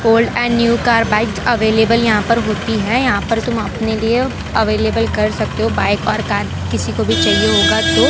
Old and new car bike available यहाँ पर होती है यहाँ पर तुम अपने लिए अवैलेबल कर सकते हो बाइक और कार किसी को भी चाहिए होगा तो।